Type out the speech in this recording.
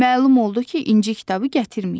Məlum oldu ki, İnci kitabı gətirməyib.